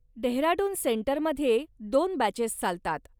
डेहराडून सेंटरमध्ये दोन बॅचेस चालतात.